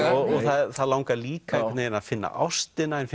og það langar líka veginn að finna ástina en